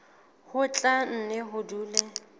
ho tla nne ho dule